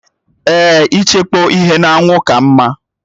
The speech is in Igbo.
Èè, ịchekpọ ihe n'anwụ ka mma